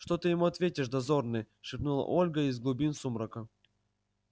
что ты ему ответишь дозорный шепнула ольга из глубин сумрака